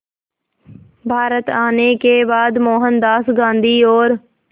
भारत आने के बाद मोहनदास गांधी और